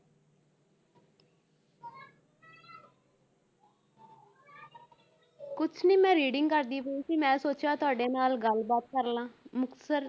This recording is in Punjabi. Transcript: ਕੁਛ ਨੀ ਮੈਂ reading ਕਰਦੀ ਪਈ ਸੀ ਮੈਂ ਸੋਚਿਆ ਤੁਹਾਡੇ ਨਾਲ ਗੱਲ ਬਾਤ ਕਰ ਲਵਾਂ ਮੁਕਤਸਰ